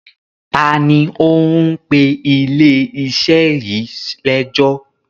Ta ni ó ń pe ilé-iṣẹ́ yìí lẹ́jọ́?